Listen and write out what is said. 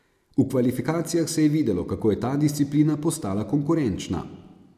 V kvalifikacijah se je videlo, kako je ta disciplina postala konkurenčna.